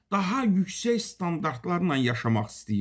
Daha yüksək standartlarla yaşamaq istəyir.